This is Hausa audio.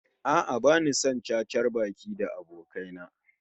A'a, bani son cacar baki da abokai na